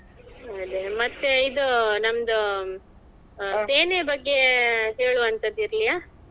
ಅದೇ ಮತ್ತೇ ಇದು ನಮ್ದು ಸೇನೆ ಬಗ್ಗೆ ಹೇಳುವಂಥದ್ದು ಇರ್ಲಿಯಾ?